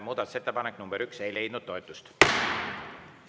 Muudatusettepanek nr 1 ei leidnud toetust.